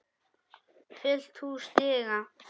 Fullt hús stiga.